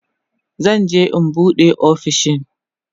zan je in an buɗe ofishin